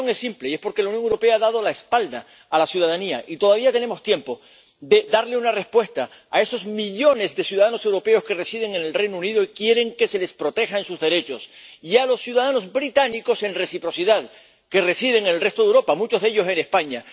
Y la razón es simple, y es porque la Unión Europea ha dado la espalda a la ciudadanía, y todavía tenemos tiempo de darles una respuesta a esos millones de ciudadanos europeos que residen en el Reino Unido y quieren que se les protejan sus derechos y, en reciprocidad, a los ciudadanos británicos que residen en el resto de Europa, muchos de ellos en España.